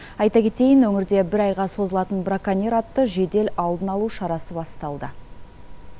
айта кетейін өңірде бір айға созылатын браконьер атты жедел алдын алу шарасы басталды